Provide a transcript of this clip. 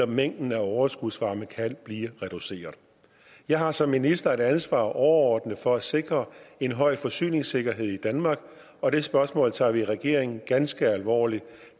mængden af overskudsvarme kan blive reduceret jeg har som minister et ansvar overordnet for at sikre en høj forsyningssikkerhed i danmark og det spørgsmål tager vi i regeringen ganske alvorligt